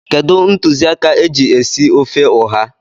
Kedụ ntụziaka e ji esi ofe ụha?